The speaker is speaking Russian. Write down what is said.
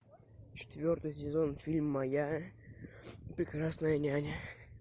четвертый сезон фильма моя прекрасная няня